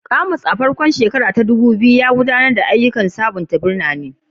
Kumasi, a farkon 2000s, ya gudanar da ayyukan sabunta birane